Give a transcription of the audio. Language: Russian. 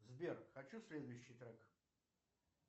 сбер хочу следующий трек